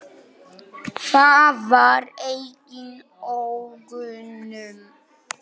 Það var engin ógnun.